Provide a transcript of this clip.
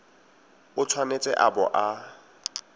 o tshwanetse a bo a